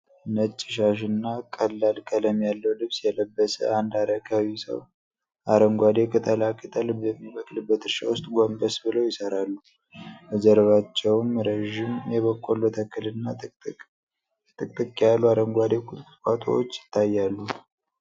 ነጭ ሻሽና ቀላል ቀለም ያለው ልብስ የለበሰ አንድ አረጋዊ ሰው፣ አረንጓዴ ቅጠላ ቅጠል በሚበቅልበት እርሻ ውስጥ ጎንበስ ብለው ይሰራሉ። በጀርባቸውም ረዥም የበቆሎ ተክልና ጥቅጥቅ ያሉ አረንጓዴ ቁጥቋጦዎች ይታያሉ።